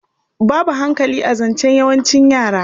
Babu hankali a zancen yawancin yara.